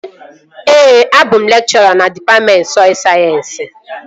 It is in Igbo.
Ee, abụ m lekchọra na dịpatmentị sọy sayensị